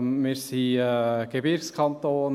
Wir sind ein Gebirgskanton.